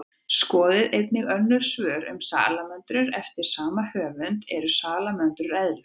Skoðið einnig önnur svör um salamöndrur eftir sama höfund: Eru salamöndrur eðlur?